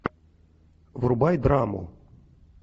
врубай драму